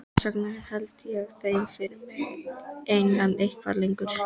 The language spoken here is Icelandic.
Þess vegna held ég þeim fyrir mig einan eitthvað lengur.